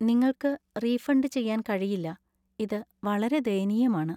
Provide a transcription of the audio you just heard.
നിങ്ങള്‍ക്ക് റീഫണ്ടു ചെയ്യാന്‍ കഴിയില്ല, ഇത് വളരെ ദയനീയമാണ്.